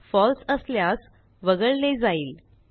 फळसे असल्यास वगळले जाईल